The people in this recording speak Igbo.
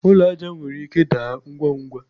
ụlọ aja nwere ike daa ngwa ngwa